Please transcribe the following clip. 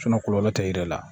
kɔlɔlɔ tɛ yir'i la